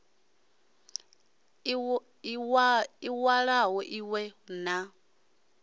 i walo i we na